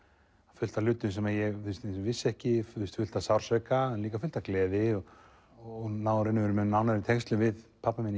fullt af hlutum sem ég vissi ekki fullt af sársauka en líka fullt af gleði og náði nánari tengslum við pabba minn